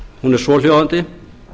hún er svohljóðandi